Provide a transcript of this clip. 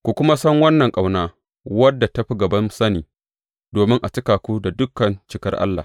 Ku kuma san wannan ƙauna wadda ta fi gaban sani, domin a cika ku da dukan cikar Allah.